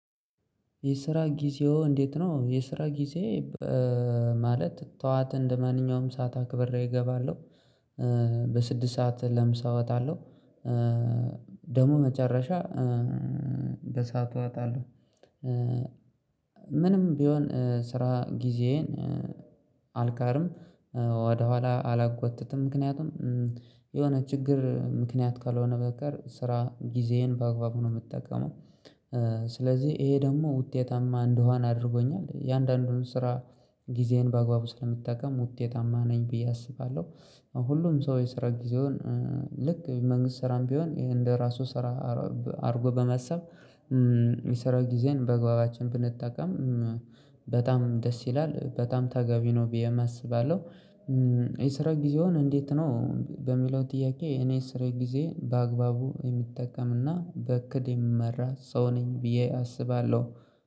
የስራ ጊዜው እንዴት ነው? የስራ ጊዜ ማለት ጠዋት እንደማንኛውም ሰዓት አክብር እገባለሁ። በስድስት ሰዓት ለምሳወጥ አለው። ደሙ መጨረሻ በሰአቱ አጣለሁ። ምንም ቢሆን ስራ ጊዜየን አልቀርም። ወደኋላ አላጎተተም ምክንያቱም የሆነ ችግር ምክንያት ካልሆነ በቀር ስራ ጊዜዬን ባግባቡ ነው የምጠቀመው። ስለዚህ ይሄ ደግሞ ውጤታማ እንደውሃን አድርጎኛል የአንዳንዱን ስራ ጊዜዬን በአግባቡ ስለምጠቀም ውጤታማ ነኝ ብዬ አስባለሁ። ሁሉም ሰው የሰራ ጊዜውን ልክ መንግስት ስራም ቢሆን ይሄ እንደ ራሱ ስራ አድርጎ በመሰብ የሚሰራው ጊዜን በግባባችን ብንጠቀም በጣም ደስ ይላል በጣም ተጋቢ ነው ብዬ አስባለሁ። የስራ ጊዜውን እንዴት ነው በሚለው ጥያቄ እኔ ስራ ጊዜ በአግባቡ የምጠቀምና በቅድ የምመራ ሰው ነኝ ብዬ አስባለሁ